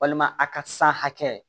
Walima a ka san hakɛ